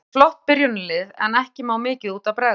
Eru með flott byrjunarlið en ekki má mikið út af bregða.